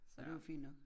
Så det var fint nok